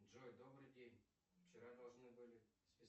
джой добрый день вчера должны были списать